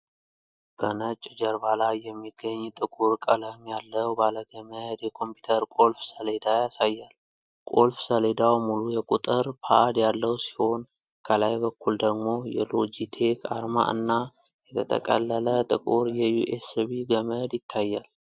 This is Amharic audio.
በነጭ ጀርባ ላይ የሚገኝ ጥቁር ቀለም ያለው ባለገመድ የኮምፒውተር ቁልፍ ሰሌዳ ያሳያል። ቁልፍ ሰሌዳው ሙሉ የቁጥር ፓድ ያለው ሲሆን፣ ከላይ በኩል ደግሞ የ"ሎጂቴክ" አርማ እና የተጠቀለለ ጥቁር የዩኤስቢ ገመድ ይታያል።